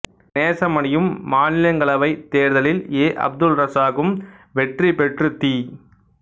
நேசமணியும் மாநிலங்களவை தேர்தலில் எ அப்துல் ரசாக்கும் வெற்றி பெற்று தி